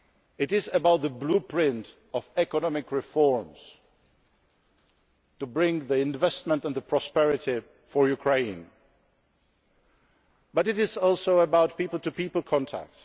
It is about the blueprint for economic reforms to bring investment and prosperity for Ukraine, but it is also about people to people contact.